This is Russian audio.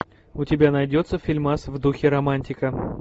у тебя найдется фильмас в духе романтика